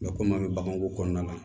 Nka kɔmi an bɛ baganko kɔnɔna na